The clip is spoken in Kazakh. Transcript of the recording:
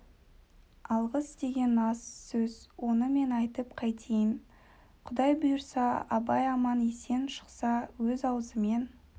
алғыс деген аз сөз оны мен айтып қайтейін құдай бұйырса абай аман-есен шықса өз аузымен